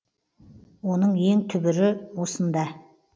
оның ең түбірі осында